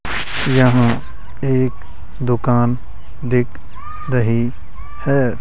यहां एक दुकान दिख रही है।